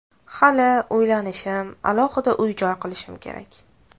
Hali uylanishim, alohida uy-joy qilishim kerak.